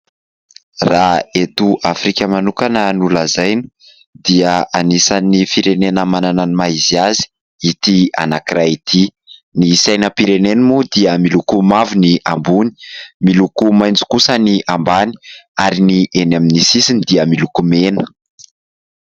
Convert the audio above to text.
Raha eto Afrika manokana no lazaina dia anisan'ny manana ny maha izy azy ity anankiray ity. Ny sainam-pireneny moa dia miloko mavo ny ambony, miloko maitso kosa ny ambany ary ny eny amin'ny sisiny dia miloko mena.